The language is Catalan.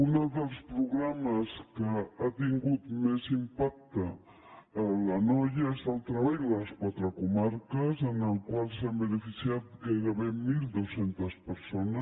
un dels programes que ha tingut més impacte a l’anoia és el treball de les quatre comarques en el qual s’han beneficiat gairebé mil dos cents persones